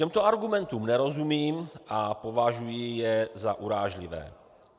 Těmto argumentům nerozumím a považuji je za urážlivé.